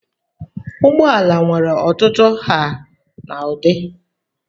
Ụgbọala nwere ọtụtụ nha na ụdị.